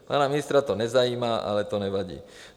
Pana ministra to nezajímá, ale to nevadí.